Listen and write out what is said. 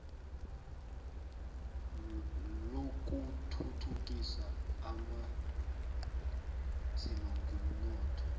lokuthuthukisa abanzima ngomnotho